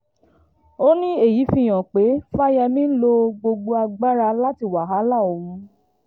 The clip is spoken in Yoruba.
ó ní èyí fi hàn pé fáyẹ́mì ń lo gbogbo agbára láti wàhálà òun